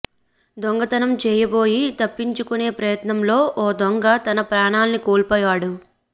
దొంగతనం చేయబోయి తప్పించుకునే ప్రయత్నంలో ఓ దొంగ తన ప్రాణాల్ని కోల్పోయాడు